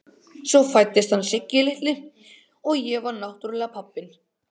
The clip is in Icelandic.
Svo fæddist hann Siggi litli og ég var náttúrlega pabbinn.